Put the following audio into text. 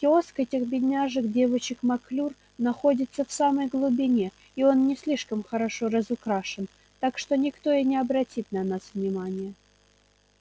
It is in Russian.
киоск этих бедняжек девочек маклюр находится в самой глубине и он не слишком хорошо разукрашен так что никто и не обратит на вас внимания